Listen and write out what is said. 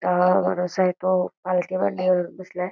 काळा माणूस आहे तो पालथी मंडी घालून बसला आहे.